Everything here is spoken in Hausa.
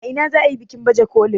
a ina za a yi bikin bajekolin?